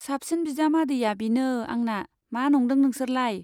साबसिन बिजामादैया बिनो आंना , मा नंदों नोंसोरलाय।